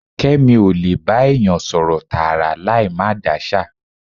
Kẹ́mi ó lè bá èèyàn sọ̀rọ̀ tààrà láì máa dáṣà.